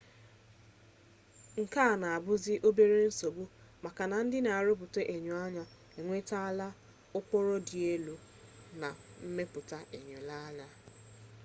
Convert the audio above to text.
nke a na-abuzi obere nsogbu maka na ndị na-arụpụta enyoanya enwetala ụkpụrụ dị elu na mmepụta enyoanya